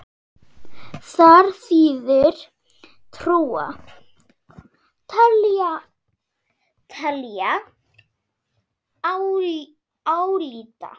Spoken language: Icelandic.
Þar þýðir trúa: telja, álíta.